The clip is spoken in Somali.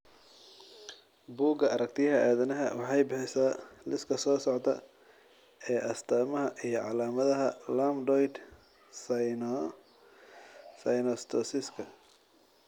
Bugga Aaragtiyaha Aadanaha waxay bixisaa liiska soo socda ee astamaha iyo calaamadaha Lambdoid synnostosiska.